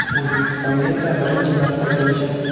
O‘zbekistonga esa birinchi marta kelishim.